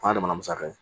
O y'a damana musaka ye